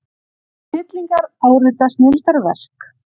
Snillingar árita snilldarverk